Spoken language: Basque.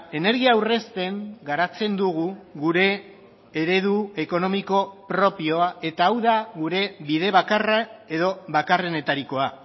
energia aurrezten garatzen dugu gure eredu ekonomiko propioa eta hau da gure bide bakarra edo bakarrenetarikoa